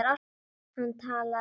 Hann talaði um